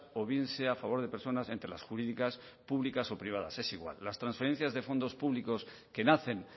o bien sea a favor de personas entre las jurídicas públicas o privadas es igual las transferencias de fondos públicos que nacen